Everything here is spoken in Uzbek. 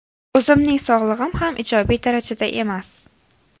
O‘zimning sog‘lig‘im ham ijobiy darajada emas.